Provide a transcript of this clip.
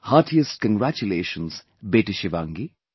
Heartiest congratulations, Beti Shivangi